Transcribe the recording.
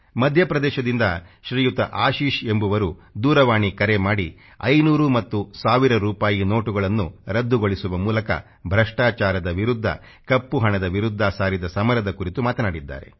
ಮಧ್ಯ ಪ್ರದೇಶದಿಂದ ಶ್ರೀಯುತ ಆಶಿಷ್ ಎಂಬುವರು ದೂರವಾಣಿ ಕರೆ ಮಾಡಿ 500 ಮತ್ತು 1 ಸಾವಿರ ರೂಪಾಯಿ ನೋಟುಗಳನ್ನು ರದ್ದುಗೊಳಿಸುವ ಮೂಲಕ ಭ್ರಷ್ಟಾಚಾರದ ವಿರುದ್ಧ ಕಪ್ಪು ಹಣದ ವಿರುದ್ಧ ಸಾರಿದ ಸಮರದ ಕುರಿತು ಮಾತನಾಡಿದ್ದಾರೆ